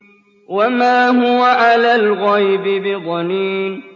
وَمَا هُوَ عَلَى الْغَيْبِ بِضَنِينٍ